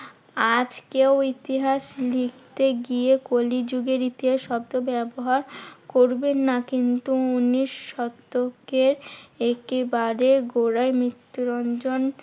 আজকেও ইতিহাস লিখতে গিয়ে কলিযুগের ইতিহাস শব্দ ব্যবহার করবেন না কিন্তু উনিশ শতকের একেবারে গোড়ায় মৃত্যুরঞ্জন